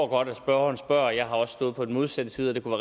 godt at spørgeren spørger for jeg har også stået på den modsatte side og det kunne